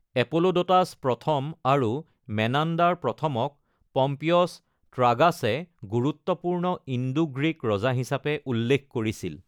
এপোলোডোটাছ প্ৰথম আৰু মেনাণ্ডাৰ প্ৰথম-ক পম্পিয়ছ ট্ৰাগাছে গুৰুত্বপূৰ্ণ ইণ্ডো-গ্ৰীক ৰজা হিচাপে উল্লেখ কৰিছিল।